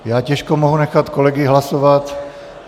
Já těžko mohu nechat kolegy hlasovat.